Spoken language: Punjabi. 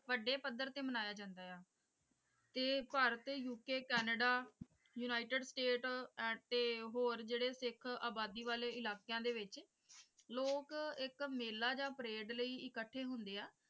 ਵੱਡੇ ਪੱਧਰ ਤੇ ਮਨਾਇਆ ਜਾਂਦਾ ਹੈ ਤੇ Bharat U K Canada united state ਤੇ ਹੋਰ ਜਿਹੜੇ ਸਿੱਖ ਅਬਾਦੀ ਵਾਲੇ ਇਲਾਕਿਆਂ ਦੇ ਵਿੱਚ ਲੋਕ ਇੱਕ ਮੇਲਾ ਜਾਂ ਪਰੇਡ ਲਈ ਇੱਕਠੇ ਹੁੰਦੇ ਆ।